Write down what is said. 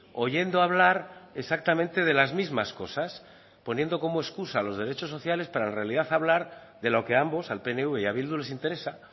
oyendo hablar exactamente de las mismas cosas poniendo como excusa los derechos sociales para en realidad hablar de lo que ambos al pnv y a bildu les interesa